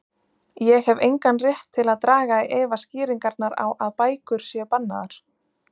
Ég hef engan rétt til að draga í efa skýringarnar á að bækur séu bannaðar.